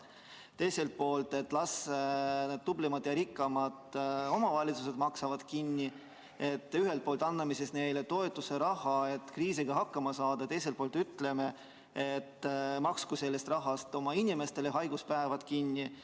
Teiselt poolt las tublimad ja rikkamad omavalitsused maksavad kinni – ühelt poolt anname neile toetusraha, et kriisiga hakkama saada, teiselt poolt ütleme, et maksku sellest rahast oma inimestele haiguspäevad kinni.